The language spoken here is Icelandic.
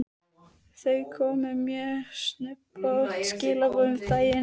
Það komu mjög snubbótt skilaboð um daginn.